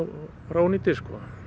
ónýtir